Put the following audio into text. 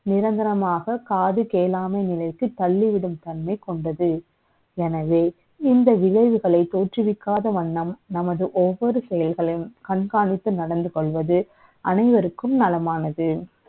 நிரந்தரமாக காது கே ளாமை நிலை க்கு தள்ளிவிடும் தன்மை க ொண்டது எனவே இந்த விளை வுகளை த ோற்றுவிக்காத வண்ணம், நமது ஒவ்வ ொரு செ யல்களை யும், கண்காணித்து நடந்து க ொள்வது, அனை வருக்கும் நலமானது.